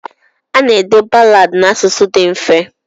Ana-ede balaadị n'asụsụ dị mfe.